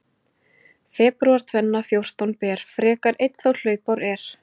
Febrúar tvenna fjórtán ber, frekar einn þá hlaupár er.